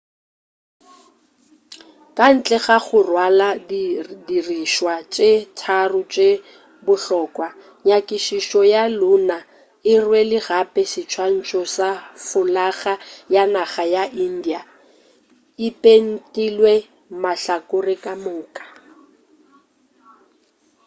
ka ntle ga go rwala di dirišwa tše tharo tše bohlokwa nyakišišo ya lunar e rwele gape seswantšho sa folaga ya naga ya india e pentilwe mahlakore ka moka